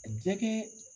Jɛgɛ